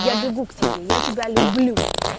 я бегу к тебе я тебя люблю